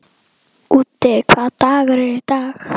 Úddi, hvaða dagur er í dag?